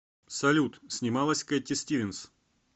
салют снималась кэтти стивенс